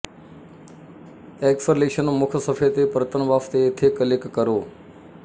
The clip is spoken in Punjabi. ਐਕਸਲ੍ਰੇਸ਼ਨ ਮੁੱਖ ਸਫ਼ੇ ਦੇ ਪਰਤਣ ਵਾਸਤੇ ਇੱਥੇ ਕਲਿੱਕ ਕਰੋ